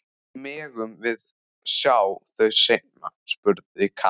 Megum við sjá þau seinna? spurði Kata.